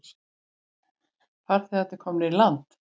Farþegarnir komnir í land